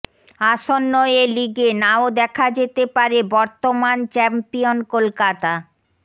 আসন্ন এ লিগে নাও দেখা যেতে পারে বর্তমান চ্যাম্পিয়ন কলকাতা